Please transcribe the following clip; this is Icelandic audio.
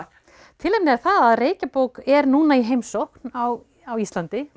tilefnið er það að er núna í heimsókn á á Íslandi